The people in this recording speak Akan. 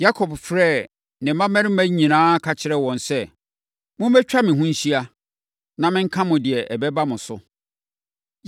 Yakob frɛɛ ne mmammarima nyinaa ka kyerɛɛ wɔn sɛ, “Mommɛtwa me ho nhyia, na menka mo deɛ ɛbɛba mo so.